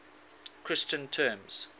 christian terms